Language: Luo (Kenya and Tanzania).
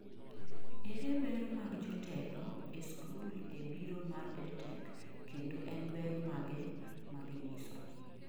ere ber mag jotelo ee skul e biro mar edtech kendo en ber mage maginyiso?